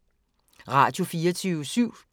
Radio24syv